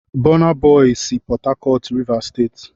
Bọna bọy sị Pọta Cọt, Rịvas Steeti